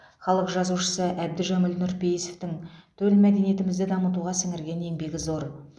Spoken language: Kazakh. халық жазушысы әбдіжәміл нұрпейісовтің төл мәдениетімізді дамытуға сіңірген еңбегі зор